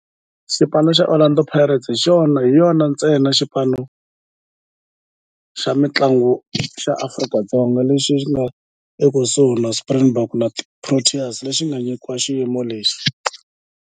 Orlando Pirates hi yona ntsena xipano xa mintlangu xa Afrika-Dzonga lexi nga ekusuhi na Springboks na Proteas lexi nga nyikiwa xiyimo lexi.